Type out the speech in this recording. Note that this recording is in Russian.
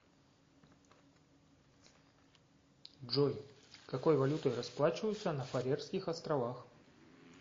джой какой валютой расплачиваются на фарерских островах